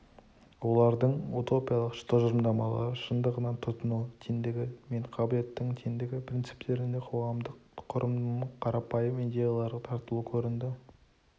олардың утопиялық тұжырымдамалары шындығынан тұтыну теңдігі мен қабілеттік теңдігі принциптерінде қоғамдық құрылымның қарапайым идеялары тартылу көрінді